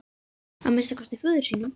Að minnsta kosti föður sínum.